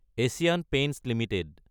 Asian paints Ltd